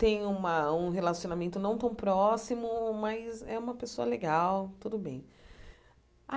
tem uma um relacionamento não tão próximo, mas é uma pessoa legal, tudo bem.